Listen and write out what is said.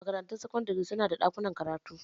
Makarantun sakandare su na da ɗakunan karatu.